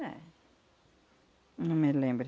Eh... Não me lembre.